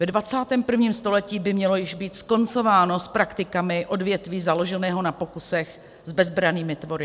Ve 21. století by mělo již být skoncováno s praktikami odvětví založeného na pokusech s bezbrannými tvory.